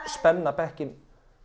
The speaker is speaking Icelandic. spenna bekkinn